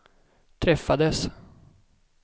träffades